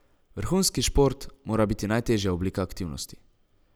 Vrhunski šport mora biti najtežja oblika aktivnosti.